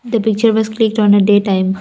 the picture was clicked on a day time.